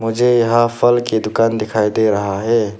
मुझे यहां फल की दुकान दिखाई दे रहा है।